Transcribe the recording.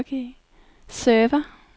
server